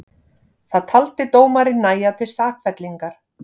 Það taldi dómarinn nægja til sakfellingar